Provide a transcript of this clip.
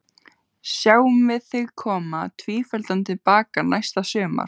Sjáum við þig koma tvíefldan til baka næsta sumar?